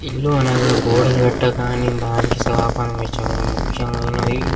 ఇల్లు అనగా గోడలు కట్టాలి కాని దానికి స్లాబ్ అనేది చాలా ముఖ్యమైనది.